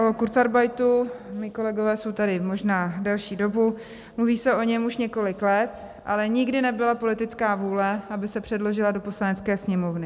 O kurzarbeitu - mí kolegové jsou tady možná delší dobu - mluví se o něm už několik let, ale nikdy nebyla politická vůle, aby se předložil do Poslanecké sněmovny.